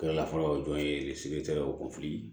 Kɛra la fɔlɔ o jɔn ye